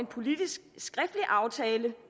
politisk aftale